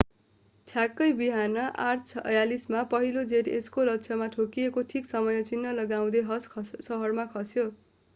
ठ्याक्कै बिहान 8:46 मा पहिलो जेट यसको लक्ष्यमा ठोकिएको ठीक समय चिन्ह लगाउँदै हस सहरमा खस्यो